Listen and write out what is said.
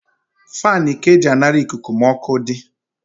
Fani ka e ji anara ikuku ma ọkụ di